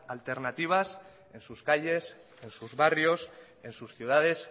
alternativas en sus calles en sus barrios en sus ciudades